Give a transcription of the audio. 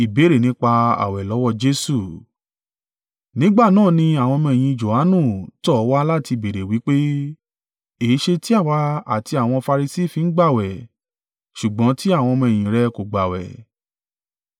Nígbà náà ni àwọn ọmọ-ẹ̀yìn Johanu tọ̀ ọ́ wá láti béèrè wí pé, “Èéṣe tí àwa àti àwọn Farisi fi ń gbààwẹ̀, ṣùgbọ́n tí àwọn ọmọ-ẹ̀yìn rẹ kò gbààwẹ̀?”